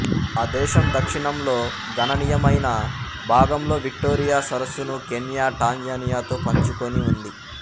ఆ దేశం దక్షిణంలో గణనీయమైన భాగంలో విక్టోరియా సరస్సును కెన్యా టాంజానియాతో పంచుకుని ఉంది